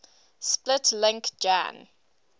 split link jan